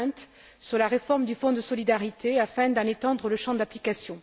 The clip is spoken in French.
Berend sur la réforme du Fonds de solidarité, afin d'en étendre le champ d'application.